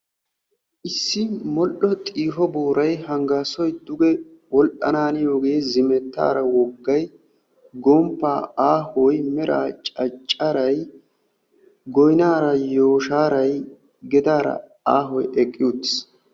Issi modhdho xiiho booray hanggaassoy duge wodhdhananiyoogee, zimettaara woggay aahoy meraa caccaray goynaara yooshshaaray gedaara aahoy eqqi uttis.